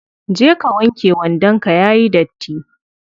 Je ka wanke wandon ka yayi datti.